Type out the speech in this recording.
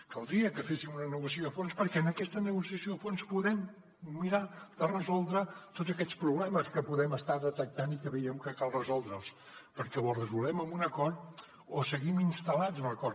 caldria que féssim una negociació a fons perquè en aquesta negociació a fons podem mirar de resoldre tots aquests problemes que podem estar detectant i que veiem que cal resoldre perquè o els resolem amb un acord o seguim instal·lats en el no acord